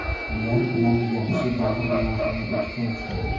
Ular bilan yaxshi davrlarni o‘tkazdim.